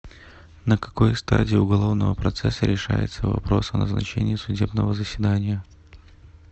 на какой стадии уголовного процесса решается вопрос о назначении судебного заседания